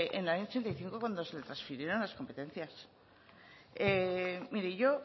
en el año ochenta y cinco cuando se le transfirieron las competencias mire yo